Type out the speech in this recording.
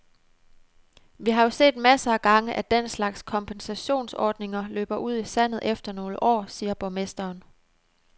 Vi har jo set masser af gange, at den slags kompensationsordninger løber ud i sandet efter nogle år, siger borgmesteren.